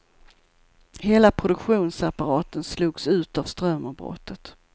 Hela produktionsapparaten slogs ut av strömavbrottet.